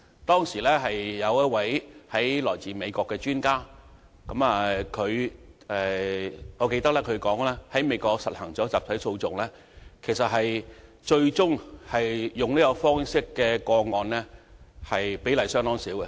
當時，一位來自美國的專家表示，在美國推行集體訴訟後，最終採用這種方式的個案比例相當少。